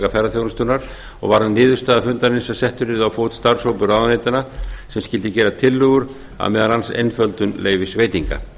ferðaþjónustunnar og var sú niðurstaða fundarins að settur yrði á fót starfshópur ráðuneytanna sem skyldi gera tillögur að meðal annars einföldun leyfisveitinga